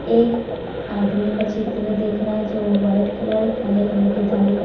एक आदमी का चित्र दिख रहा जो वाइट कलर काले कलर की धारी का --